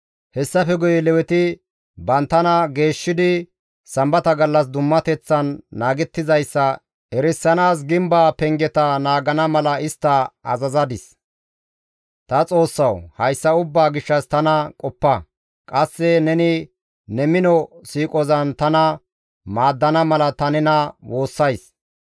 Hessafe guye Leweti banttana geeshshidi Sambata gallas dummateththan naagettizayssa erisanaas gimbaa pengeta naagana mala istta azazadis. Ta Xoossawu! Hayssa ubbaa gishshas tana qoppa; qasse neni ne mino siiqozan tana maaddana mala ta nena woossays.